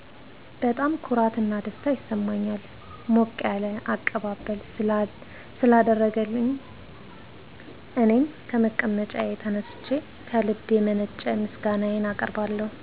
በጣም ኩራት እና ደስታ ይሰማኛል ሞቅ ያለ አቀባበል ስላደረገልኝ እኔም ከመቀመጫዬ ተነስቸ ከልብ የመነጨ ምስጋናየን አቀርብለታለሁ።